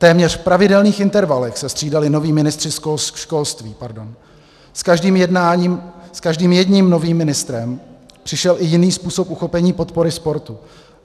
Téměř v pravidelných intervalech se střídali noví ministři školství, s každým jedním novým ministrem přišel i jiný způsob uchopení podpory sportu.